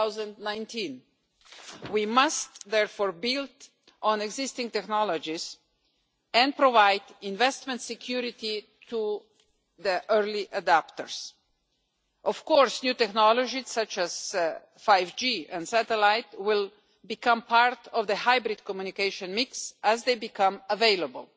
2019. We must, therefore, build on existing technologies and provide investment security to the early adapters. New technologies such as 5G and satellite will become part of the hybrid communication mix as they become available.